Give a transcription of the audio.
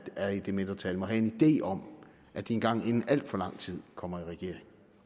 er i det mindretal må have en idé om at de engang inden alt for lang tid kommer i regering